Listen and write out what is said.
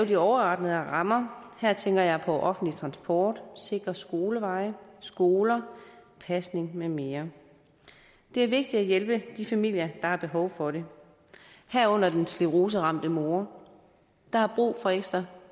de overordnede rammer her tænker jeg på offentlig transport sikre skoleveje skoler pasning med mere det er vigtigt at hjælpe de familier der har behov for det herunder den scleroseramte mor der har brug for ekstra